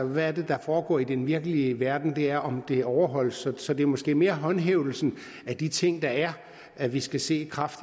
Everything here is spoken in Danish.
hvad er det der foregår i den virkelige verden det er om det overholdes så det er måske mere håndhævelsen af de ting der er vi skal se